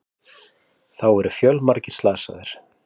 Þá eru fjölmargir slasað